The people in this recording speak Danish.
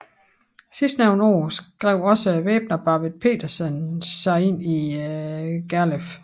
Sidstnævnte år skrev også væbneren Barvid Pedersen sig in Gerleff